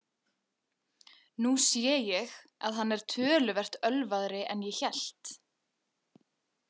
Nú sé ég að hann er töluvert ölvaðri en ég hélt.